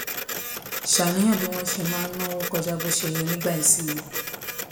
ṣàníyàn nípa bí wón ṣe máa ń náwó kọjá bó ṣe yẹ nígbà ìsinmi